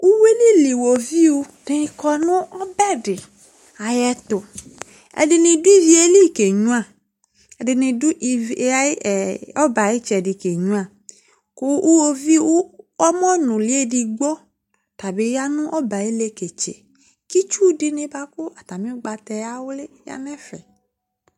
Uyui li dɩ kɔ nʋ ɔbɛ dɩ ayɛtʋ Ɛdɩnɩ dʋ ivi yɛ li kenyuǝ, ɛdɩnɩ dʋ ivi yɛ ɛ ɔbɛ yɛ ayʋ ɩtsɛdɩ kenyuǝ kʋ iɣoviu ɔmɔnʋlɩ edigbo, ɔta bɩ ya nʋ ɔbɛ yɛ ayʋ ileketse kʋ itsu dɩnɩ bʋa kʋ atamɩ ʋgbata yɛ awlɩ ya nʋ ɛfɛ